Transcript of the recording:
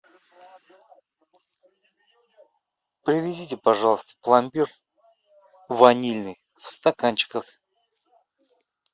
привезите пожалуйста пломбир ванильный в стаканчиках